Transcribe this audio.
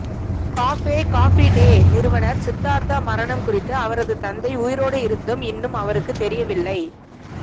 cafe Coffee Day நிறுவனர் சித்தார்தா மரணம் குறித்து அவரது தந்தை உயிரோடு இருந்தும் இன்னும் அவருக்கு தெரியவில்லை